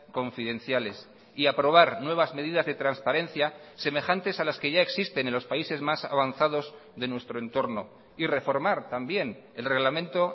confidenciales y aprobar nuevas medidas de transparencia semejantes a las que ya existen en los países más avanzados de nuestro entorno y reformar también el reglamento